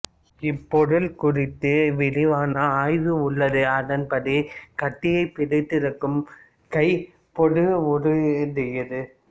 இப்பொருள் குறித்து விரிவான ஆய்வு உள்ளது அதன்படி கத்தியைப் பிடித்திருக்கும் கை பேதுருவுடையதே